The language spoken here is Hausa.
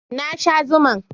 Na sha zuman